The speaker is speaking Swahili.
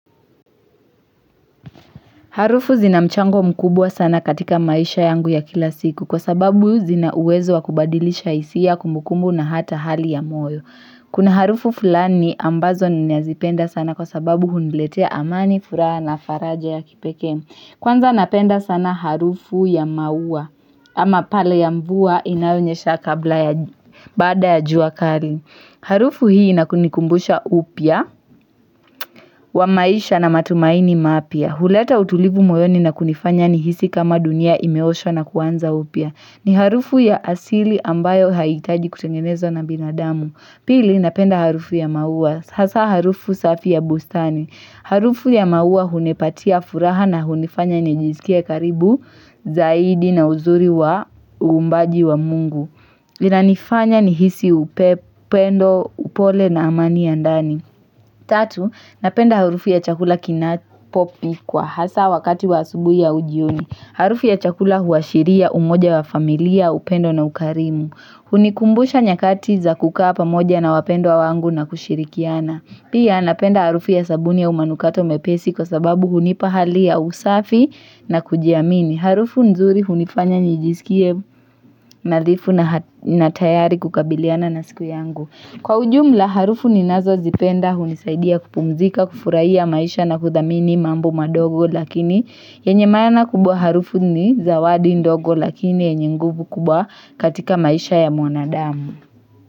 Harufu zina mchango mkubwa sana katika maisha yangu ya kila siku kwa sababu zinauwezo wa kubadilisha hisia kumbukumbu na hata hali ya moyo. Kuna harufu fulani ambazo ni nazipenda sana kwa sababu huniletea amani furaha na faraja ya kipeke. Kwanza napenda sana harufu ya maua ama pale ya mvua inayonyesha kabla ya baada ya jua kali. Harufu hii inanikumbusha upya wa maisha na matumaini mapya. Huleta utulivu moyoni na kunifanya ni hisi kama dunia imeoshwa na kuanza upya. Ni harufu ya asili ambayo haitaji kutengenezo na binadamu. Pili, napenda harufu ya maua. Hasa harufu safi ya bustani. Harufu ya maua hunipatia furaha na hunifanya nijisikie karibu zaidi na uzuri wa uumbaji wa Mungu. Linanifanya nihisi upendo upole na amani ya ndani. Tatu, napenda harufu ya chakula kinapopi kwa hasa wakati wa asubuhi au jioni. Harufu ya chakula huashiria umoja wa familia upendo na ukarimu. Hunikumbusha nyakati za kukaa pamoja na wapendwa wangu na kushirikiana. Pia napenda harufu ya sabuni au manukato mepesi kwa sababu hunipa hali ya usafi na kujiamini. Harufu nzuri hunifanya nijisikie nadhifu na tayari kukabiliana na siku yangu. Kwa ujumla harufu ninazozipenda hunisaidia kupumzika, kufurahia maisha na kuthamini mambo madogo lakini yenye maana kubwa harufu ni zawadi ndogo lakini yenye nguvu kubwa katika maisha ya mwanadamu.